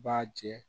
B'a jɛ